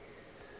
ba ile ba be ba